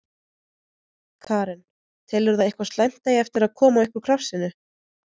Karen: Telurðu að eitthvað slæmt eigi eftir að koma upp úr krafsinu?